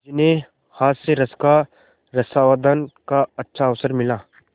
जिन्हें हास्यरस के रसास्वादन का अच्छा अवसर मिला